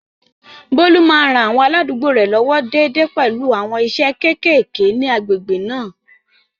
Bólú máa ń ran àwọn aládùúgbò rẹ̀ lọ́wọ́ déédéé pẹ̀lú àwọn iṣẹ́ kéékèèké ní agbègbè náà